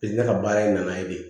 ka baara in na ye de